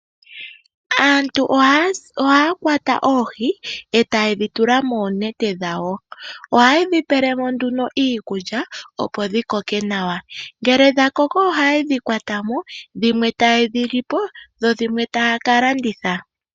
Aantu ohaa kwata oohi e taye dhi tula moonete dhawo. Ohaye dhi pele mo iikulya opo dhi koke nawa. Ngele dha koko ohaye dhi kwata mo, dhimwe taye dhi li po, dho dhimwe taya ka landitha.